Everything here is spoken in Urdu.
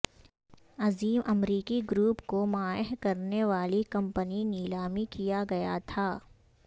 عظیم امریکی گروپ کو مائع کرنے والی کمپنی نیلامی کیا گیا تھا